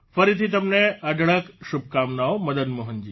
ફરીથી તમને અઢળક શુભકામનાઓ મદન મોહનજી